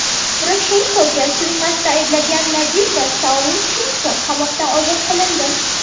Poroshenkoga suiqasdda ayblangan Nadejda Savchenko qamoqdan ozod qilindi.